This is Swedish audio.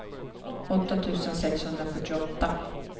åtta tusen sexhundrafyrtioåtta